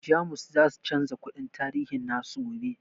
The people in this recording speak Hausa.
Jamus zasu chanza kundin tarihi nasu gobe